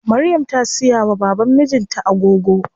Maryam ta siya wa baban mijin ta agogo.